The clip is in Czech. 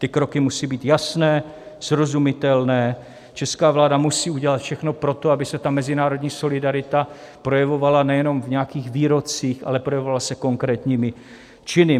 Ty kroky musí být jasné, srozumitelné, česká vláda musí udělat všechno pro to, aby se mezinárodní solidarita projevovala nejenom v nějakých výrocích, ale projevovala se konkrétními činy.